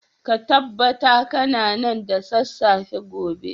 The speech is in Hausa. ka tabbata kana nan da sassafe gobe